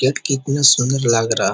Gate कितना सुन्दर लग रहा।